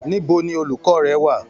Níbo ni olukọ rẹ wà?